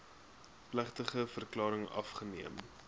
plegtige verklaring afgeneem